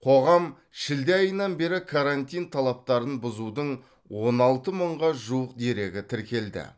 қоғам шілде айынан бері карантин талаптарын бұзудың он алты мыңға жуық дерегі тіркелді